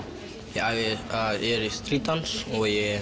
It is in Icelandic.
ég æfi Street dans og ég